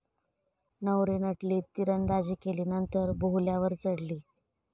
नवरी नटली, तिरंदाजी केली नंतर बोहल्यावर चढली!